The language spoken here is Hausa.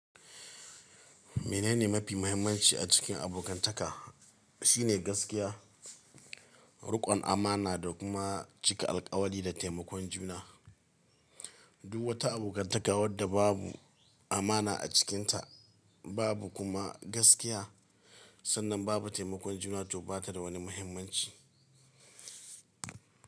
Menene mafi muhimmanci a cikin abokantaka? Shine gaskiya, riƙon amana da kuma cika alƙawari da taimakon juna. Duk wata abokantaka wadda babu amana a cikinta babu kuma gaskiya sannan babu taimakon juna to bata da wani muhimmanci.